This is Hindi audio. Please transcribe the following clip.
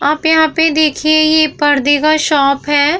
आप यहाँ पे देखिये ये परदे का शॉप है।